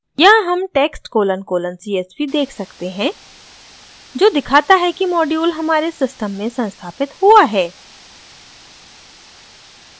यहाँ हम text colon colon csv देख सकते हैं जो दिखाता है कि मॉड्यूल हमारे सिस्टम में संस्थापित हुआ है